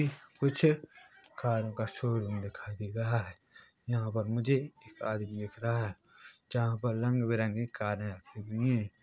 कुछ कारों का शोरूम दिखाई दे रहा है यहाँ पर मुझे आदमी दिख रहा है यहाँ पर रंग-बिरंगी कारें रखी हुई है।